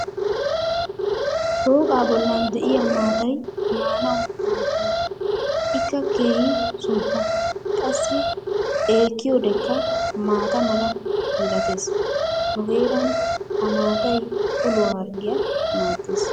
shooqaa boli diya maatay maanawu maadenna. ikka keehi suuppa. qassi xeekiyoddekka maata mala milatees. nu heeran ha maataay uluwaa harggiya maadees.